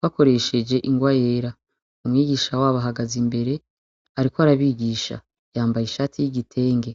bakoresheje ingwa yera. Umwigisha wabo ahagaze imbere ariko arabigisha, yambaye ishati y'igitenge.